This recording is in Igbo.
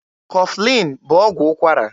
Kọflin bụ ọgwụ ụkwara.